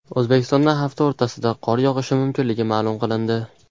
O‘zbekistonda hafta o‘rtasida qor yog‘ishi mumkinligi ma’lum qilindi.